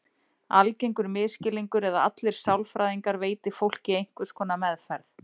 Algengur misskilningur er að allir sálfræðingar veiti fólki einhvers konar meðferð.